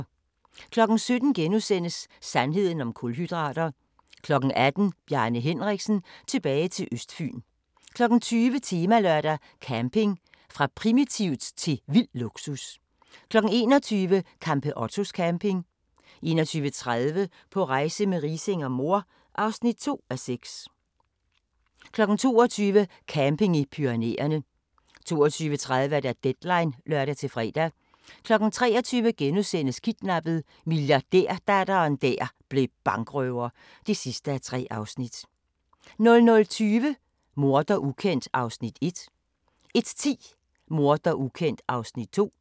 17:00: Sandheden om kulhydrater * 18:00: Bjarne Henriksen – tilbage til Østfyn 20:00: Temalørdag: Camping – fra primitivt til vild luksus 21:00: Campeottos camping 21:30: På rejse med Riising og mor (2:6) 22:00: Camping i Pyrenæerne 22:30: Deadline (lør-fre) 23:00: Kidnappet: Milliardærdatteren der blev bankrøver (3:3)* 00:20: Morder ukendt (1:4) 01:10: Morder ukendt (2:4)